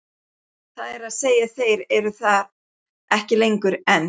Það er að segja þeir eru þar ekki lengur, en.